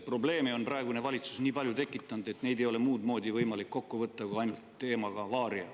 Probleeme on praegune valitsus nii palju tekitanud, et neid ei ole muud moodi võimalik kokku võtta kui ainult teemaga "Varia".